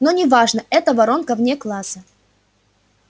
но не важно это воронка вне класса